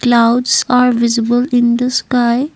clouds are visible in the sky.